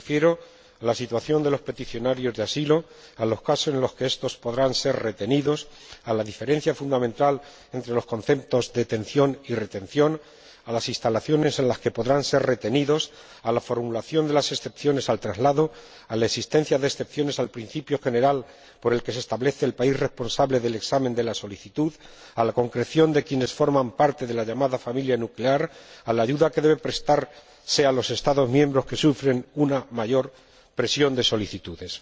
Me refiero a la situación de los peticionarios de asilo, a los casos en los que estos podrán ser retenidos, a la diferencia fundamental entre los conceptos de detención y retención, a las instalaciones en las que podrán ser retenidos, a la formulación de las excepciones al traslado, a la existencia de excepciones al principio general por el que se establece el país responsable del examen de la solicitud, a la concreción de quiénes forman parte de la llamada familia nuclear, a la ayuda que debe prestarse a los Estados miembros que sufren una mayor presión de solicitudes.